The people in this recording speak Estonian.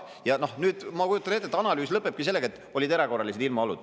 Ja nüüd, ma kujutan ette, et analüüs lõpebki sellega, et olid erakorralised ilmaolud.